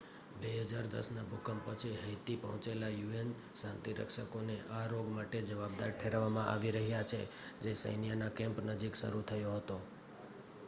2010ના ભૂકંપ પછી હૈતી પહોંચેલા યુએન શાંતિરક્ષકોને આ રોગ માટે જવાબદાર ઠેરવવામાં આવી રહ્યા છે જે સૈન્યના કેમ્પ નજીક શરૂ થયો હતો